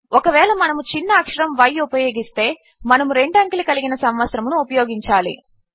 ఒకవేళ మనము చిన్న అక్షరము y ఉపయోగిస్తే మనము 2 అంకెలు కలిగిన సంవత్సరమును ఉపయోగించాలి